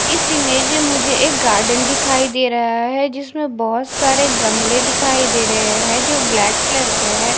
इस इमेज मुझे एक गार्डन दिखाई दे रहा है जिसमें बहुत सारे गमले दिखाई दे रहे हैं जो ब्लैक कलर के हैं।